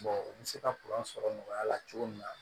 u bɛ se ka sɔrɔ nɔgɔya la cogo min na